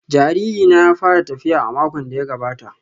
Jariri na ya fara tafiya a makon da ya gabata